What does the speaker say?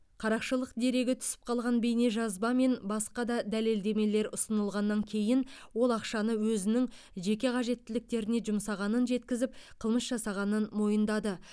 қарақшылық дерегі түсіп қалған бейнежазба мен басқа да дәлелдемелер ұсынылғаннан кейін ол ақшаны өзінің жеке қажеттіліктеріне жұмсағанын жеткізіп қылмыс жасағанын мойындады